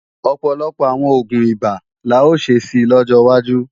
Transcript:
Ọ̀pọ̀lọpọ̀ àwọn oògùn ibà la ó ṣe si lọ́jọ́ wájú